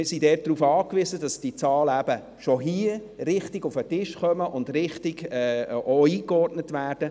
Zudem sind wir darauf angewiesen, dass die Zahlen schon hier richtig auf den Tisch kommen und auch richtig eingeordnet werden.